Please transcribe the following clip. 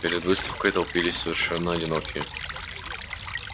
перед выставкой толпились совершенно одинокие